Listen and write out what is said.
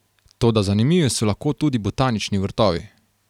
Toda zanimivi so lahko tudi botanični vrtovi.